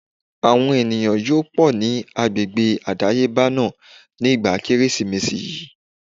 Àwọn èrò yóò pọ̀ ní agbègbè àdáyébá náà ní ìgbà Kérésìmesì yí.